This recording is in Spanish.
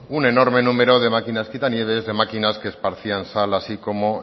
un enorme número de máquinas quitanieves de máquinas que esparcían sal así como